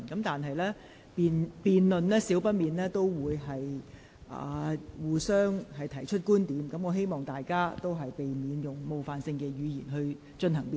議員在辯論中難免會提出不同觀點，但不應使用冒犯性言詞。